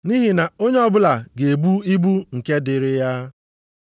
Nʼihi na onye ọbụla ga-ebu ibu nke dịịrị ya.